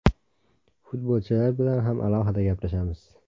Futbolchilar bilan ham alohida gaplashamiz.